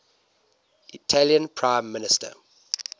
italian prime minister